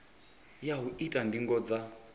ya u ita ndingo dza